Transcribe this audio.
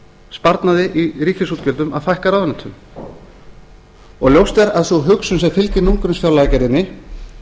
sparnaði í ríkisútgjöldum að fækka ráðuneytunum og ljóst er að sú hugsun sem fylgir núllgrunnsfjárlagagerðinni